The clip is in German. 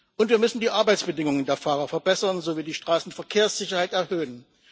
Und wir müssen die Arbeitsbedingungen der Fahrer verbessern sowie die Straßenverkehrssicherheit erhöhen.